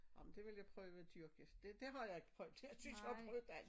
Ej men det vil jeg prøve at dyrke det det har jeg ikke prøvet jeg synes jeg har prøvet alt